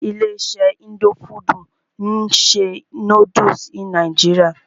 Ilé iṣé indo fudù ń ṣe nódúsì ní nàìjíría.